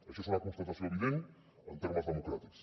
això és una constatació evident en termes democràtics